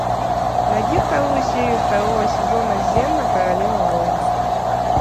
найди вторую серию второго сезона зена королева воинов